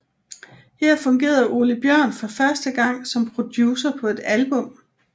Her fungerede Ole Bjórn for første gang som producer på et album